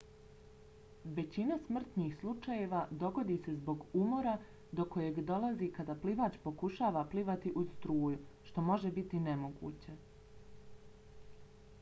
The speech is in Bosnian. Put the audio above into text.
većina smrtnih slučajeva dogodi se zbog umora do kojeg dolazi kada plivač pokušava plivati uz struju što može biti nemoguće